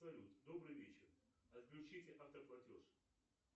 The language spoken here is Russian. салют добрый вечер отключите автоплатеж